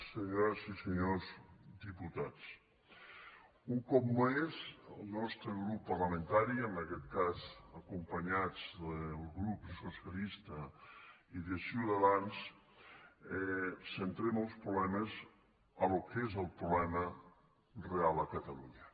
senyores i senyors diputats un cop més el nostre grup parlamentari en aquest cas acompanyats del grup socialista i de ciutadans centrem els problemes en allò que és el problema real a catalunya